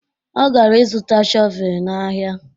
Ọ gara ịzụta shọvee n'ahịa